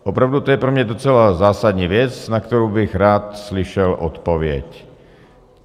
Opravdu to je pro mě docela zásadní věc, na kterou bych rád slyšel odpověď.